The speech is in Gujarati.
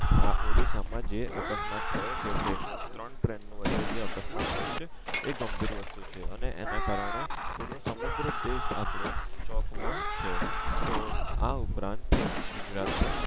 આ ઓડીસ્સા માં જે અકસ્માત થયો છે ટ્રેન નો ત્રણ ટ્રેન ની વચ્ચે જે અકસ્માત થયો છે એ ગંભીર વસ્તુ છે અને એના કારણે પૂરો સમગ્ર દેશ આપડો શોક માં છે તો આ ઉપરાંત ગુજરાત ના